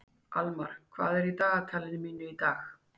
Almar, hvað er í dagatalinu mínu í dag?